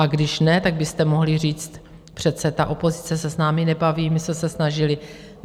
A když ne, tak byste mohli říct, přece ta opozice se s námi nebaví, my jsme se snažili.